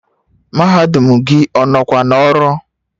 Mahadum gị ọ nọkwa n'ọrụ?